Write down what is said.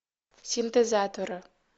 синтезаторы